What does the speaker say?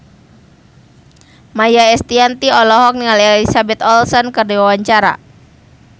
Maia Estianty olohok ningali Elizabeth Olsen keur diwawancara